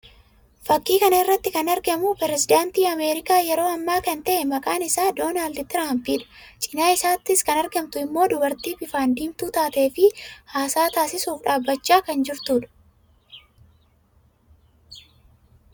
Fakkii kana irratti kan argamu pirezidaantii Ameerikaa yeroo ammaa kan ta'e maqaan isaas Doonaald Tiraampii dha. Cina isaattis kan argamtu immoo dubartii bifaan diimtuu taatee fi haasaa taasisuuf dhaabbachaa kan jirtuu dha.